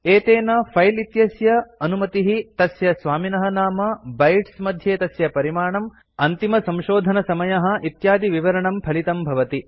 एतेन फिले इत्यस्य अनुमतिः तस्य स्वामिनः नाम बाइट्स् मध्ये तस्य परिमाणम् अन्तिमसंशोधनसमयः इत्यादिविवरणं फलितं भवति